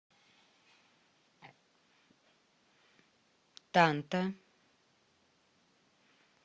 танта